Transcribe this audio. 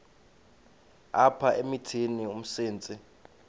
apha emithini umsintsi